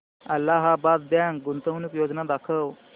Allahabad bank गुंतवणूक योजना दाखव